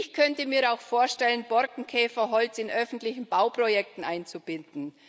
Ich könnte mir auch vorstellen, Borkenkäferholz in öffentlichen Bauprojekten einzubinden.